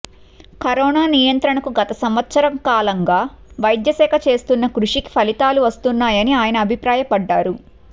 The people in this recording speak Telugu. కరోనా నియంత్రణకు గత సంవత్సర కాలంగా వైద్యశాఖ చేస్తున్న కృషికి ఫలితాలు వస్తున్నాయని ఆయన అభిప్రాయపడ్డారు